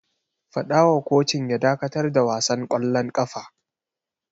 Fada wa kocin ya dakatar da wasan kwallon kafa!